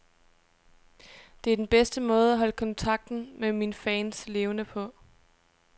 Det er den bedste måde at holde kontakten med mine fans levende på.